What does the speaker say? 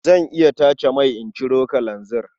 Zan iya tace mai in ciro kalanzir.